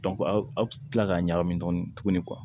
aw bɛ tila k'a ɲagami tuguni tuguni